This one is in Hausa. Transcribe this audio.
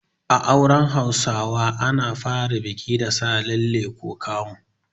A auren Hausawa ana fara biki da Sa lalle ko kamu.